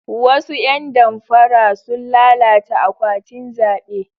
Wasu ya damfara sun lalata akwatin zabe.